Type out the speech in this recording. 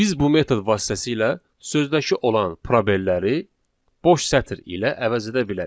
Biz bu metod vasitəsilə sözdəki olan probelləri boş sətr ilə əvəz edə bilərik.